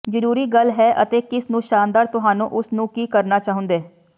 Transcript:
ਜ਼ਰੂਰੀ ਗੱਲ ਹੈ ਅਤੇ ਕਿਸ ਨੂੰ ਸ਼ਾਨਦਾਰ ਤੁਹਾਨੂੰ ਉਸ ਨੂੰ ਕੀ ਕਰਨਾ ਚਾਹੁੰਦੇ